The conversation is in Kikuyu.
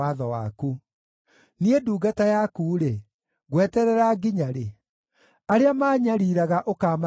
Niĩ ndungata yaku-rĩ, ngweterera nginya rĩ? Arĩa maanyariiraga ũkaamaherithia rĩ?